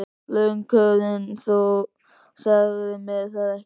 LANDSHÖFÐINGI: Þú sagðir mér það ekki.